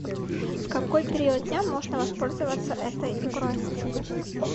в какой период дня можно воспользоваться этой игрой